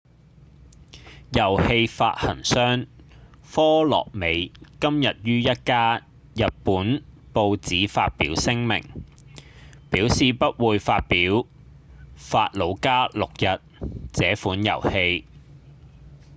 遊戲發行商科樂美今日於一家日本報紙發表聲明表示不會發表《法魯加六日》這款遊戲